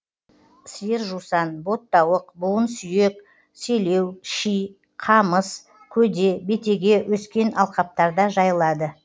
сиыр жусан боттауық буын сүйек селеу ши ңамыс көде бетеге өскен алқаптарда жайылады